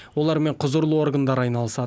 олармен құзырлы органдар айналысады